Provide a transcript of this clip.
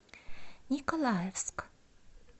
николаевск